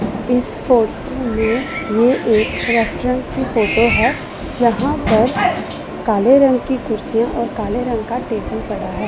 इस फोटो में ये एक रेस्टोरेंट की फोटो है यहां पर काले रंग की कुर्सियां और काले रंग का टेबल पड़ा है।